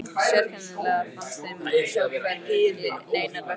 Sérkennilegast fannst þeim að sjá hvergi neinar verslanir.